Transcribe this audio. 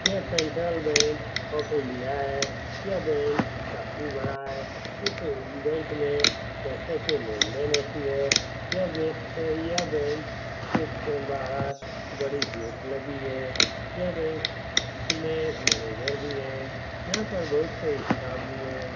यह central bank of India है | यह बैंक काफी बड़ा है इस बैंक में पैसे के लेन देन होती है यह बैंक के बाहर बड़ी गेट लगी है | यहाँ बैंक में मैनेजर भी है यहाँ पर बहुत सारी स्टाफ भी है ।